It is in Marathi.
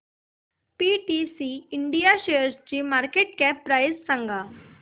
पीटीसी इंडिया शेअरची मार्केट कॅप प्राइस सांगा